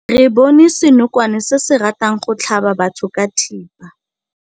Re bone senokwane se se ratang go tlhaba batho ka thipa.